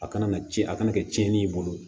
A kana na ci a kana kɛ tiɲɛni ye i bolo